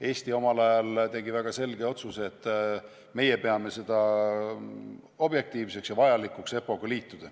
Eesti tegi omal ajal väga selge otsuse, et meie peame objektiivseks ja vajalikuks EPPO-ga liituda.